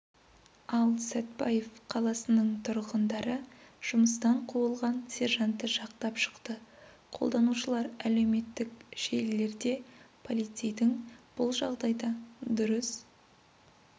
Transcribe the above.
ал сәтбаев қаласының тұрғындары жұмыстан қуылған сержантты жақтап шықты қолданушылар әлеуметтік желілерде полицейдің бұл жағдайда дұрыс